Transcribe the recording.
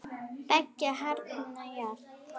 Beggja handa járn.